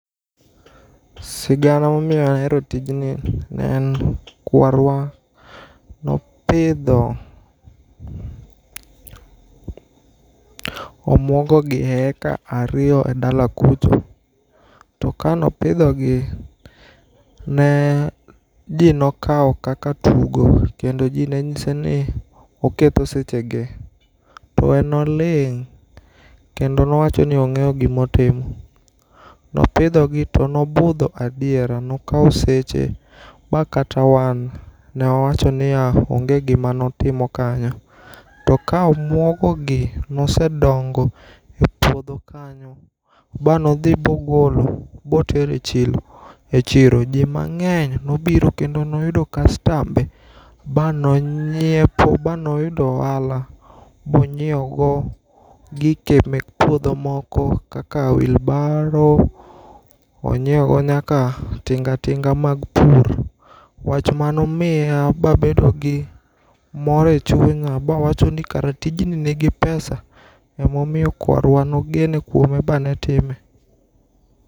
Sigana ma omiyo ahero tijni ,ne en kwarwa ne opidho omwogo gi e heka ariyo e dala kucho to ka ne opidho gi ne ji ne okawo kaka tugo kendo ji ne ng'ise ni oketho sechege to en ne oling' kendo owacho ni ong'eyo gi ma otimo. Ne opidho gi to ne obudho adiera ne okawo seche ma kata wan ne wawacho ni ya, onge gi ma otimo kanyo. to ka omwogo gi ne osedongo e pudho kanyo ma ne odhi ma ogolo ma otero e chilo e chiro, to ji mang'eny ne obiro kendo ne oyudo kastambe ma ne ong'iepo ma ne oyudo ohala ma onyieow go gike mek puodho moko kaka wheelbarrow ,onyiewo go nyaka tinga tinga mag pur. Wach mane omiya ma bedo gi mor e chunya ma awacho ni kara tijni ni gi pesa ema omiyo kwarwa ne ogeno kuome ma ne time.